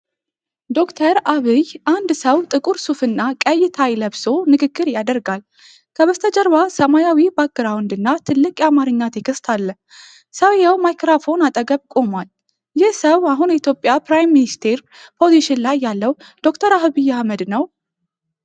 ዶ/ር ዐብይ አንድ ሰው ጥቁር ሱፍ እና ቀይ ታይ ለብሶ ንግግር ያደርጋል። ከበስተጀርባ ሰማያዊ ባክግራውንድ እና ትልቅ የአማርኛ ቴክስት አሉ። ሰውዬው ማይክሮፎን አጠገብ ቆሟል። ይህ ሰው አሁን የኢትዮጵያ ፕራይም ሚኒስተር ፖዚሽን ላይ ያለው ዶክተር አብይ አህመድ ነው?